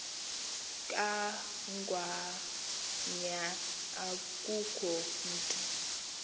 kangwanya akukho mntu